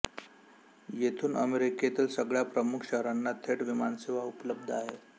येथून अमेरिकेतील सगळ्या प्रमुख शहरांना थेट विमानसेवा उपलब्ध आहे